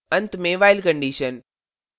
अंत में while condition